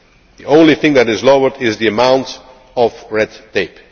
anywhere. The only thing that is lowered is the amount